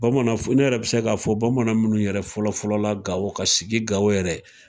Bamanan, ne yɛrɛ be se ka fɔ bamanan munnu yɛrɛ fɔlɔ fɔlɔ la Gawo ka sigi Gawo yɛrɛ.